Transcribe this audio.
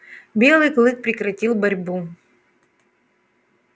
белый клык прекратил борьбу